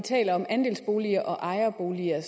ejerboliger